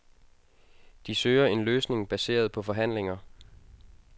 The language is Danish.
De søger en løsning baseret på forhandlinger.